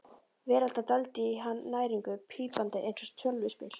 Vélarnar dældu í hann næringu, pípandi eins og tölvuspil.